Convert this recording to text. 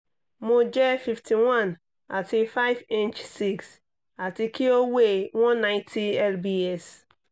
mo jẹ fifty one ati five inch six ati ki o weigh one ninety lbs